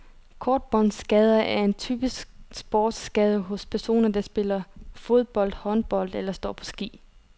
Korsbåndsskader er en typisk sportsskade hos personer, der spiller fodbold, håndbold eller står på ski.